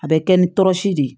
A bɛ kɛ ni tɔrɔsi de ye